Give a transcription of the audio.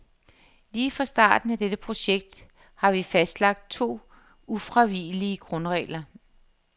Lige fra starten af dette projekt har vi fastlagt to ufravigelige grundregler.